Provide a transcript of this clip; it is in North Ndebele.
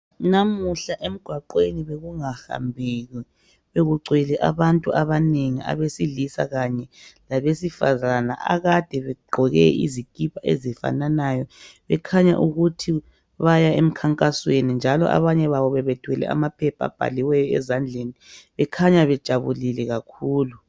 Namuhla emgwaqeni bekunga hambeki bekugcwele abantu abanengi abesilisa kanye labesifazana akade begqoke izikipa ezifananayo bekhanya ukuthi baya emkhankasweni njalo abanye babo bebethwele amaphepha abhaliweyo ezandleni bekhanya bejabulile kakhulu.